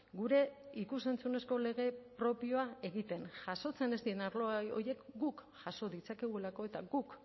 gure ikus entzunezko lege propioa egiten jasotzen ez diren arlo horiek guk jaso ditzakegulako eta guk